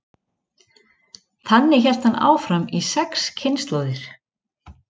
Þannig hélt hann áfram í sex kynslóðir.